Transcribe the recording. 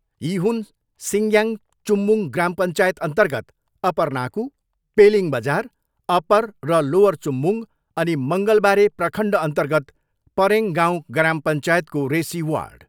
यी हुन सिङग्याङ चुम्बुङ ग्राम पञ्चायत अन्तर्गत अपर नाकु, पेलिङ बजार, अपर र लोवर चुम्बुङ अनि मङ्गलबारे प्रखण्ड अन्तर्गत परेङ गाउँ ग्राम पञ्चायतको रेसी वार्ड।